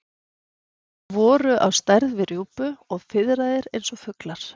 Þeir voru á stærð við rjúpu og fiðraðir eins og fuglar.